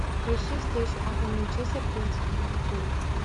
поищи встречу апл манчестер против ливерпуля